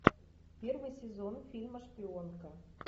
первый сезон фильма шпионка